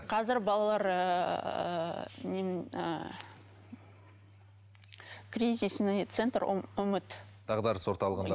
қазір балалар ыыы ыыы кризисный центр үміт дағдарыс орталығында